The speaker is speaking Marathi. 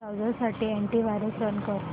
ब्राऊझर साठी अॅंटी वायरस रन कर